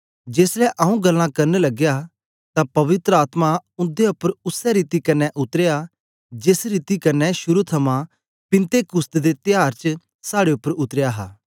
जेसलै आंऊँ गल्लां करन लगया तां पवित्र आत्मा उंदे उपर उसै रीति कन्ने उतरया जेस रीति कन्ने शुरू थमां पिन्तेकुस्त दे त्यार च साड़े उपर उतरया हा